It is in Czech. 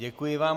Děkuji vám.